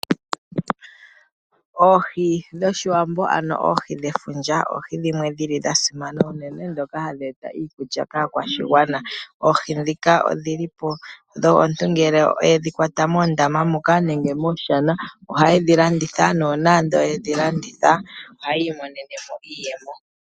Oohi dhOshiwambo ano oohi dhefundja oohi dhimwe dhili dha simana uunene ndhoka hadhi eta iikulya kaakwashigwana. Oohi ndhika omuntu ngele yedhi kwata moondama moka nenge mooshana ohaye dhi landitha nuuna yedhi landitha ohaya imonene mo iiyemo.